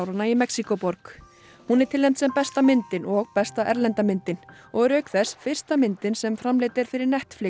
í Mexíkóborg hún er tilnefnd sem besta myndin og besta erlenda myndin og er auk þess fyrsta myndin sem framleidd er fyrir Netflix